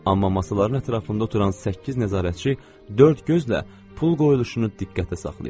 Amma masaların ətrafında oturan səkkiz nəzarətçi dörd gözlə pul qoyuluşunu diqqətə saxlayırdılar.